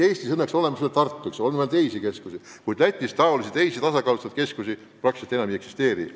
Eestis on õnneks olemas veel Tartu ja veel teisi keskusi, kuid Lätis teisi tasakaalustatud keskusi enam ei eksisteeri.